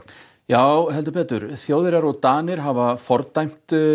já heldur betur Þjóðverjar og Danir hafa fordæmt